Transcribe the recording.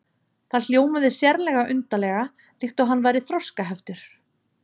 Það hljómaði sérlega undarlega, líkt og hann væri þroskaheftur.